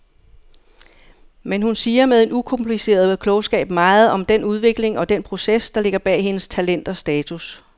Men hun siger med en ukompliceret klogskab meget om den udvikling og den proces, der ligger bag hendes talent og status.